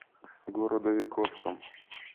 городовиковском